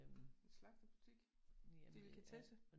En slagterbutik? Delikatesse?